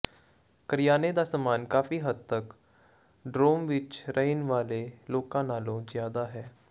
ਕਰਿਆਨੇ ਦਾ ਸਾਮਾਨ ਕਾਫ਼ੀ ਹੱਦ ਤਕ ਡੋਰੋਮ ਵਿਚ ਰਹਿਣ ਵਾਲੇ ਲੋਕਾਂ ਨਾਲੋਂ ਜ਼ਿਆਦਾ ਹੈ